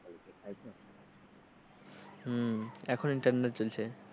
হম এখন internal চলছে,